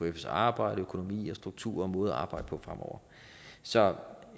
ekfs arbejde økonomi struktur og måde at arbejde på fremover så